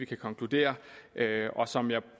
kan konkludere som jeg